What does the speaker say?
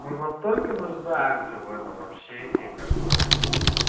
мы настолько нуждаемся в этом общении как бы ну